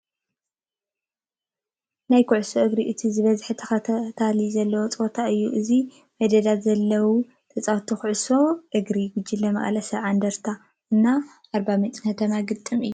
ናይ ጉዕሶ እግሪ እቲ ዝበፀሐ ተከታተሊ ዘለዎ ፀወታ እዩ። ኣብዚ መዴጋ ዘለው ተፃወቲ ኩዕሾ እግሪ ጉጅለ መቀለ 70 እንደርታን እና ኣርባምጭ ከተማ ግጥም እዩ።